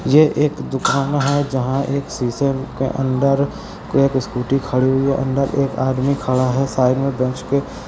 यह एक दुकान है जहाँ एक शीशे के अंदर कोई एक स्कूटी खड़ी हुयी है अंदर एक आदमी खड़ा है साइड में बेंच के|